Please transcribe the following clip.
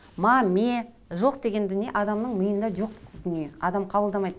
ма ме жоқ деген дүние адамның миында жоқ дүние адам қабылдамайды